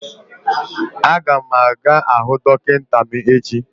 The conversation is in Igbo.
A ga m aga hụ dọkịta m echi